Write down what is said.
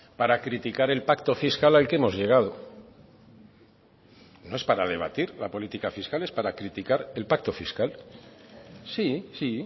para criticar el pacto fiscal al que hemos llegado no es para debatir la política fiscal es para criticar el pacto fiscal sí